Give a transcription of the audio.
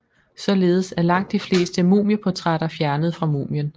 Således er langt de fleste mumieportrætter fjernet fra mumien